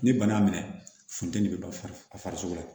Ni bana y'a minɛ funteni bɛ ban a farisogo la